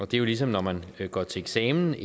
det er jo ligesom når man går til eksamen